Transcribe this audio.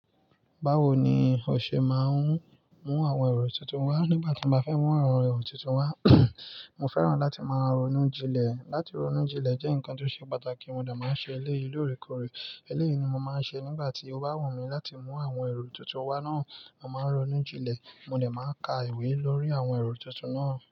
Báwo ni o ṣe máa ń mú àwọn èrò tuntun, wá nígbà tí mo bá fẹ́ mú àwọn èrò tuntun wá, mo fẹ́ràn láti máa ronú jinlẹ̀. Láti ronú jinlẹ̀ jẹ́ nǹkan tó ṣe pàtàkì, mo dà máa ń ṣe eléyìí lóore kóre. Eléyìí ni mo máa ń ṣe nígbà tí ó bá wù mí láti mú àwọn èrò tuntun wá náà. Mo máa ń ronú jinlẹ̀, mo lè máa ka ìwé lórí àwọn èrò tuntun náà.